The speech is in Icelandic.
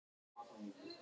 Baróninn á Grána en